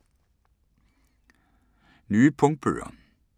Nye punktbøger